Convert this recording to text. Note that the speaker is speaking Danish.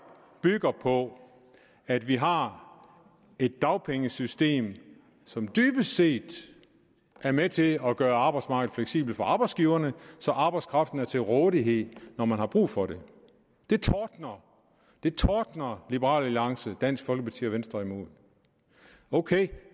på at vi har et dagpengesystem som dybest set er med til at gøre arbejdsmarkedet fleksibelt for arbejdsgiverne så arbejdskraften er til rådighed når man har brug for det det tordner liberal alliance dansk folkeparti og venstre imod ok